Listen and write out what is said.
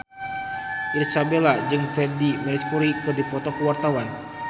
Irish Bella jeung Freedie Mercury keur dipoto ku wartawan